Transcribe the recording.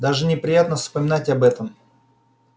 даже неприятно вспоминать об этом